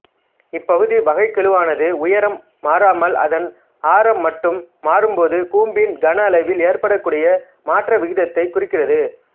இப்பகுதி வகைக்கெழுவானது உயரம் மாறாமல் அதன் ஆரம் மட்டும் மாறும்போது கூம்பின் கன அளவில் ஏற்படக்கூடிய மாற்ற விகிதத்தைக் குறிக்கிறது